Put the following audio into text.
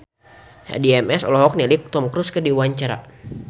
Addie MS olohok ningali Tom Cruise keur diwawancara